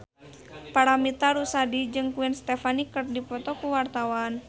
Paramitha Rusady jeung Gwen Stefani keur dipoto ku wartawan